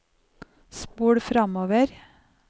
spol framover